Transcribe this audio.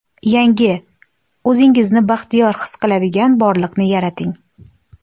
Yangi, o‘zingizni baxtiyor his qiladigan borliqni yarating!